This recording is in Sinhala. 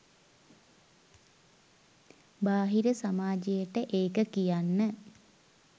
බාහිර සමාජයට ඒක කියන්න